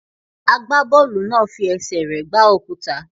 Agbábọ́ọ̀lù náà fi ẹsẹ̀ rẹ̀ gbá òkúta.